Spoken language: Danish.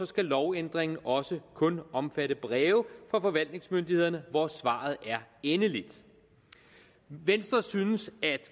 skal lovændringen også kun omfatte breve fra forvaltningsmyndighederne hvor svaret er endeligt venstre synes at